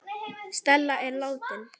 Stella systir er látin.